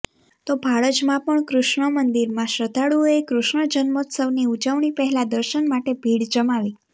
તો ભાડજમાં પણ કૃષ્ણ મંદિરમાં શ્રદ્ધાળુઓએ કૃષ્ણ જન્મોત્સવની ઉજવણી પહેલા દર્શન માટે ભીડ જમાવી